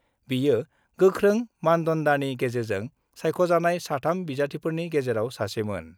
बियो गोख्रों मानदान्डानि गेजेरजों सायख'जानाय सा 3 बिजाथिफोरनि गेजेराव सासेमोन।